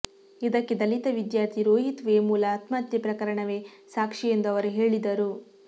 ಇದಕ್ಕೆ ದಲಿತ ವಿದ್ಯಾರ್ಥಿ ರೋಹಿತ್ ವೇಮುಲ ಆತ್ಮಹತ್ಯೆ ಪ್ರಕರಣವೆ ಸಾಕ್ಷಿಯೆಂದು ಅವರು ಹೇಳಿದರು